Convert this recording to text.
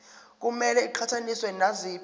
kumele iqhathaniswe naziphi